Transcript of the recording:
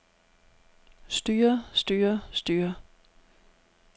styrer styrer styrer